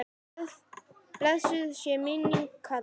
Blessuð sé minning Kalla.